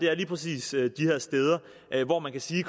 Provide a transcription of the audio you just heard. er lige præcis de her steder hvor man kan sige at